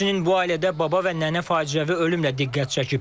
Həmçinin bu ailədə baba və nənə faciəvi ölümlə diqqət çəkib.